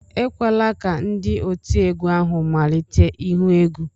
Ekwela ka ndị otiegwu ahụ malite ihu egwu!